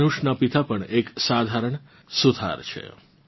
ધનુષનાં પિતા પણ એક સાધારણ સુથાર છે